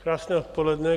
Krásné odpoledne.